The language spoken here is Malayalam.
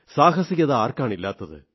സാഹസികത ആർക്കാണില്ലാത്തത്